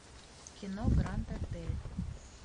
кино гранд отель